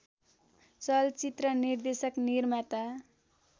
चलचित्र निर्देशक निर्माता